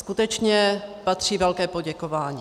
Skutečně patří velké poděkování.